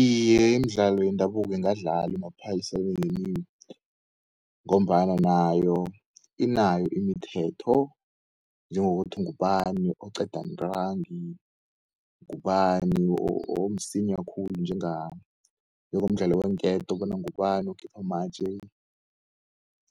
Iye imidlalo yendabuko ingadlalwa emaphayisaweni ngombana nayo inayo imithetho, njengokuthi ngubani okuqeda ntrangi, ngubani omsinya khulu njengay Njengomdlalo weenketo bona ngubani ukukhipha amatje